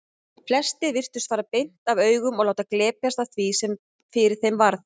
Flestir virtust fara beint af augum og láta glepjast af því sem fyrir þeim varð.